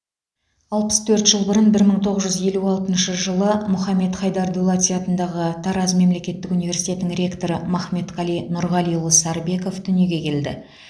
алпыс төрт жыл бұрын бір мың тоғыз жүз елу алтыншы жылы мұхаммед хайдар дулати атындағы тараз мемлекеттік университетінің ректоры махметқали нұрғалиұлы сарыбеков дүниеге келді